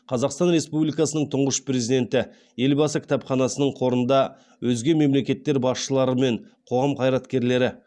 қазақстан республикасының тұңғыш президенті елбасы кітапханасының қорында өзге мемлекеттер басшылары мен қоғам қайраткерлері